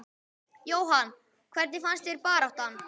Jóhann: Hvernig fannst þér baráttan?